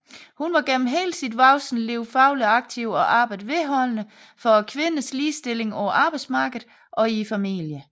Hun var gennem hele sit voksne liv fagligt aktiv og arbejdede vedholdende for kvinders ligestilling på arbejdsmarkedet og i familien